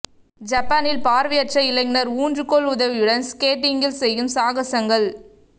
ஜப்பானில் பார்வையற்ற இளைஞர் ஊன்றுகோல் உதவியுடன் ஸ்கேட்டிங்கில் செய்யும் சாகசங்கள்